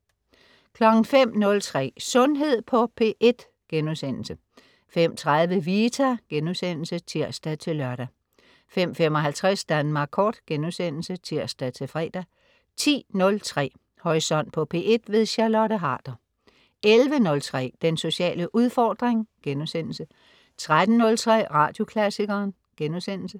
05.03 Sundhed på P1* 05.30 Vita* (tirs-lør) 05.55 Danmark Kort* (tirs-fre) 10.03 Horisont på P1. Charlotte Harder 11.03 Den sociale udfordring* 13.03 Radioklassikeren*